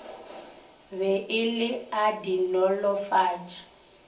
be e le a dinolofatši